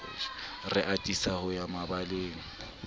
re atisa ho ya mabaleng